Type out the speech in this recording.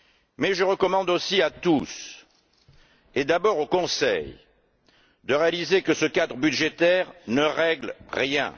Mais je recommande aussi à tous et, d'abord au Conseil, de réaliser que ce cadre budgétaire ne règle rien.